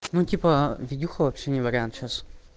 ну типа видюха вообще не вариант сейчас